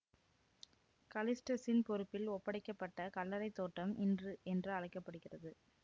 கலிஸ்டசின் பொறுப்பில் ஒப்படைக்க பட்ட கல்லறை தோட்டம் இன்று என்று அழைக்க படுகின்றது